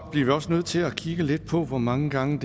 vi også nødt til at kigge lidt på hvor mange gange